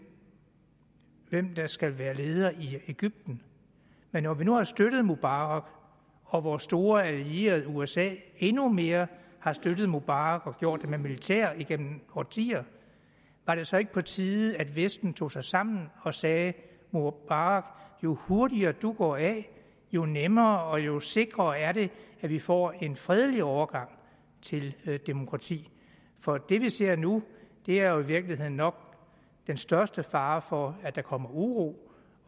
hvem der skal være leder i egypten men når vi nu har støttet mubarak og vores store allierede usa endnu mere har støttet mubarak og gjort det med militæret igennem årtier var det så ikke på tide at vesten tog sig sammen og sagde mubarak jo hurtigere du går af jo nemmere og jo sikrere er det at vi får en fredelig overgang til demokrati for det vi ser nu er jo i virkeligheden nok den største fare for at der kommer uro